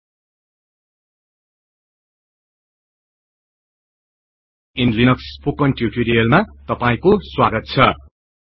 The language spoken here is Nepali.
high general purpose utilities in Linux को यस स्पोकन टियुटोरियल मा स्वागत छ्